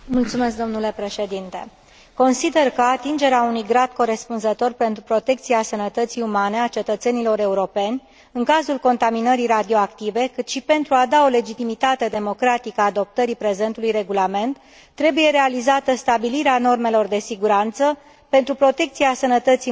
Consider că pentru atingerea unui grad corespunzător de protecție a sănătății umane a cetățenilor europeni, în cazul contaminării radioactive, cât și pentru a da o legitimitate democratică adoptării prezentului regulament, trebuie realizată stabilirea normelor de siguranță pentru protecția sănătății muncitorilor și a populației